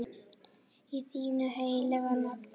Í þínu heilaga nafni.